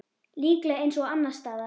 Líklega eins og annars staðar.